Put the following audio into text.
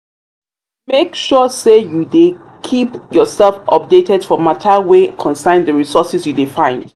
make sure say you de keep yourself updated for matter wey concern di resources you de find